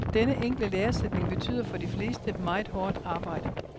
Denne enkle læresætning betyder, for de fleste, meget hårdt arbejde.